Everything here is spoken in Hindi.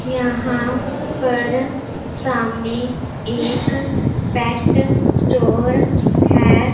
यहां पर सामने एक पेट स्टोर है।